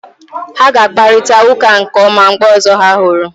Ha ga-akparịta ụka nke ọma mgbe ọzọ ha hụrụ